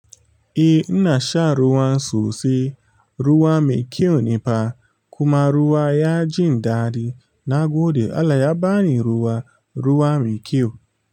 Eh ina shan ruwan sosai ruwa mai kyau ne fa kuma ruwa ya jin daɗi. Nagode Allah ya bani ruwa ruwa mai kyau.